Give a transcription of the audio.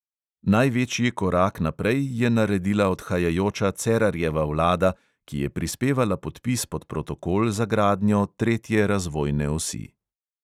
Največji korak naprej je naredila odhajajoča cerarjeva vlada, ki je prispevala podpis pod protokol za gradnjo tretje razvojne osi.